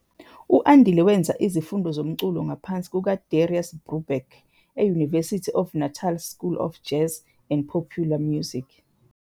U-Andile wenza izifundo zomculo ngaphansi kukaDarius Brubeck eUniversity of Natal 's School of Jazz and Popular Music